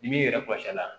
Ni b'i yɛrɛ kɔlɔsi a la